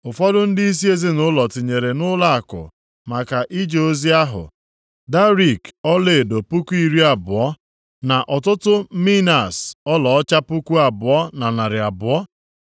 Ụfọdụ ndịisi ezinaụlọ tinyere nʼụlọakụ maka ije ozi ahụ, darik ọlaedo puku iri abụọ (20,000), + 7:71 Darik ịdị arọ ya ruru narị kilogram na iri kilogram asaa na ọtụtụ minas ọlaọcha puku abụọ na narị abụọ (2,200). + 7:71 Ịdị arọ ya ruru otu tọọnu na ụma abụọ